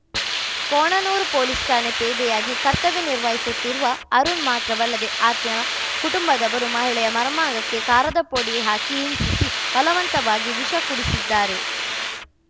Konanur police ಠಾಣೆ ಪೇದೆಯಾಗಿ ಕರ್ತವ್ಯ ನಿರ್ವಹಿಸುತ್ತಿರುವ ಅರುಣ್‌ ಮಾತ್ರವಲ್ಲದೇ ಆತನ ಕುಟುಂಬದವರು ಮಹಿಳೆಯ ಮರ್ಮಾಂಗಕ್ಕೆ ಕಾರದ ಪುಡಿ ಹಾಕಿ ಹಿಂಸಿಸಿ ಬಲವಂತವಾಗಿ ವಿಷ ಕುಡಿಸಿದ್ದಾರೆ